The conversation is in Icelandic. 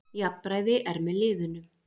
Jafnræði er með liðunum.